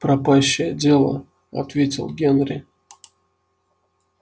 пропащее дело ответил генри